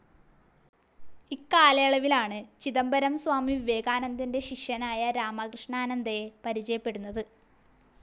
ഇക്കാലയളവിലാണ് ചിദംബരം സ്വാമി വിവേകാനന്ദൻ്റെ ശിഷ്യനായ രാമകൃഷ്ണാനന്ദയെ പരിചയപ്പെടുന്നത്.